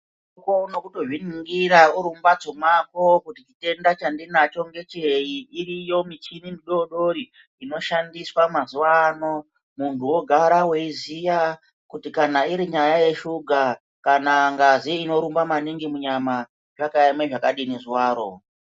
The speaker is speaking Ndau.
Ukone kutozviningira uri mumbatso mako kuti chitenda chandinacho ngechei, iriyo michini midodori inoshandiswa mazuva ano. Muntu vogara veiziya kuti kana irinyaya yesuga kana ngazi inorumba maningi munyama zvakaeme zvakadini zuvaro.